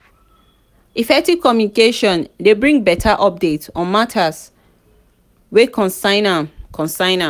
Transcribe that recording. effective communication dey bring better updates on matters wey concern am concern am